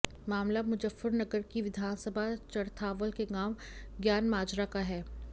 मामला मुजफ्फरनगर की विधानसभा चरथावल के गांव ज्ञानमाजरा का है